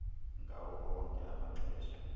ngawo onke amaxesha